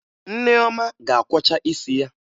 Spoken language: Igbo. Nneoma ga-akwọcha isi ya